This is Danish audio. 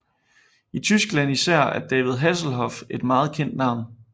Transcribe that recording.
I Tyskland især er David Hasselhoff et meget kendt navn